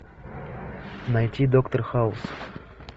найти доктор хаус